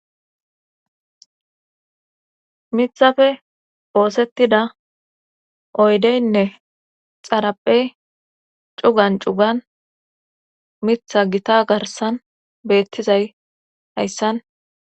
miththappe oosettida oydeynne xaraphey cugan cugan miiththa gita garsan beettizay hayssan